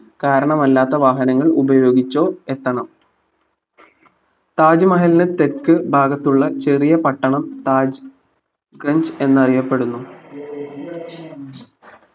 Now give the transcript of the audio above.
കാരണമല്ലാത്ത വാഹനങ്ങൾ ഉപയോഗിച്ചോ എത്തണം തജുമഹൽന്റെ തെക്കു ഭാഗത്തുള്ള പട്ടണം താജ് ക്രഞ്ജ് എന്നറിയപ്പെടുന്നു